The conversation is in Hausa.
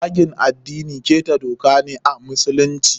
Zagin addini ƙeta doka ne a musulunci.